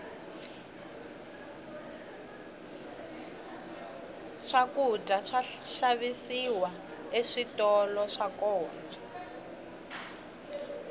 swakudya swa xavisiwa eswitolo swa kona